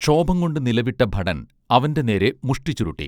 ക്ഷോഭം കൊണ്ട് നിലവിട്ട ഭടൻ അവന്റെ നേരെ മുഷ്ഠി ചുരുട്ടി